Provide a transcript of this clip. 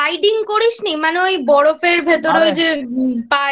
Sliding করিসনি মানে ওই বরফের ভেতরে ওই যে পায়ের